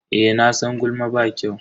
Eh, nasan gulma ba kyau.